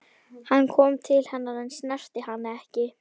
Hann kom til hennar en snerti hana ekki.